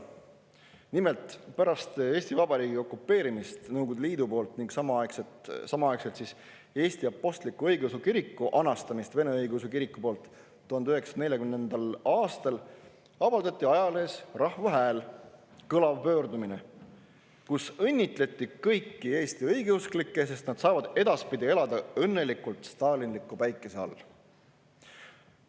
Nimelt, pärast Eesti Vabariigi okupeerimist Nõukogude Liidu poolt ning samaaegselt Eesti Apostlik-Õigeusu Kiriku anastamist Vene Õigeusu Kiriku poolt 1940. aastal avaldati ajalehes Rahva Hääl kõlav pöördumine, kus õnnitleti kõiki Eesti õigeusklikke, sest nad saavad edaspidi elada õnnelikult stalinliku päikese all.